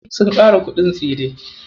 Sun ƙara kuɗin tsire.